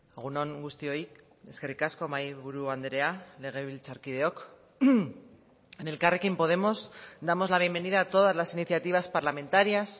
egun on guztioi eskerrik asko mahaiburu andrea legebiltzarkideok en elkarrekin podemos damos la bienvenida a todas las iniciativas parlamentarias